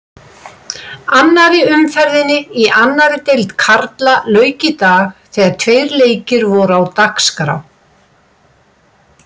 Annarri umferðinni í annarri deild karla lauk í dag þegar tveir leikir voru á dagskrá.